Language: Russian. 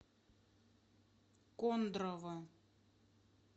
кондрово